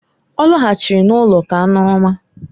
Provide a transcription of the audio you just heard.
Ọ lọghachiri n'ụlọ ka aṅụrụma.